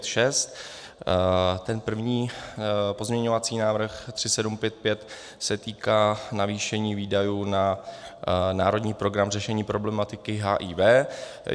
Ten první, pozměňovací návrh 3755, se týká navýšení výdajů na Národní program řešení problematiky HIV.